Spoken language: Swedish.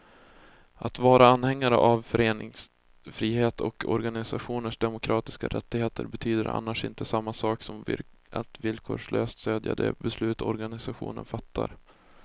Att vara anhängare av föreningsfrihet och organisationers demokratiska rättigheter betyder annars inte samma sak som att villkorslöst stödja de beslut organisationerna fattar.